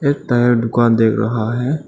शायद दुकान देख रहा है।